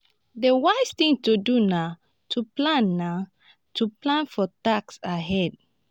di wise thing to do na to plan na to plan for taxes ahead